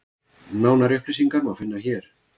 Nánari upplýsingar má finna hér.